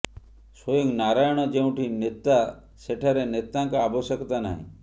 ସ୍ୱୟଂ ନାରାୟଣ ଯେଉଁଠି ନେତା ସେଠାରେ ନେତାଙ୍କ ଆବଶ୍ୟକତା ନାହିଁ